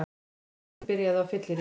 Framhjáhaldið byrjaði á fylleríi